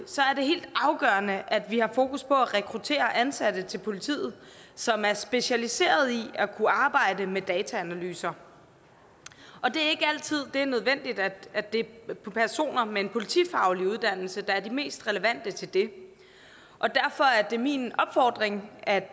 helt afgørende at vi også har fokus på at rekruttere ansatte til politiet som er specialiserede i at kunne arbejde med dataanalyser og det er ikke altid at det er personer med en politifaglig uddannelse der er de mest relevante til det og derfor er det min opfordring at